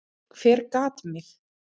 Hver gat mig?